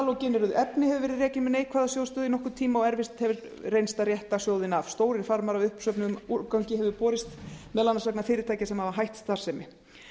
vöruflokkurinn halógeneruð efni hefur verið rekinn með neikvæða sjóðsstöðu í nokkurn tíma og erfitt hefur reynst að rétta sjóðinn af stórir farmar af uppsöfnuðum úrgangi hafa borist meðal annars vegna fyrirtækja sem hafa hætt starfsemi